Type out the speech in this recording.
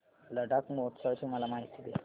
लडाख महोत्सवाची मला माहिती दे